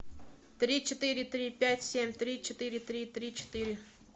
три четыре три пять семь три четыре три три четыре